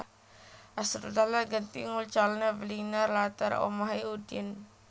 Asrul Dahlan genti nguncalno beling nang latar omahe Udin